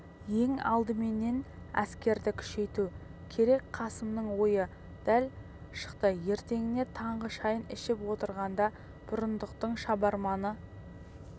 ең алдыменен әскерді күшейту керек қасымның ойы дәл шықты ертеңіне таңғы шайын ішіп отырғанда бұрындықтың шабарманы